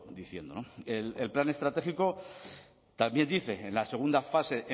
diciendo el plan estratégico también dice en la segunda fase